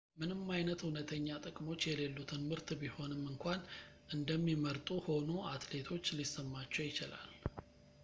ምንም አይነት እውነተኛ ጥቅሞች የሌሉትን ምርት ቢሆንም እንኳን እንደሚመርጡ ሆኖ አትሌቶች ሊሰማቸው ይችላል